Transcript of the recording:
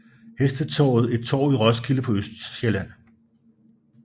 Hestetorvet et torv i Roskilde på Østsjælland